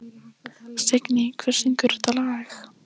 Signý, hver syngur þetta lag?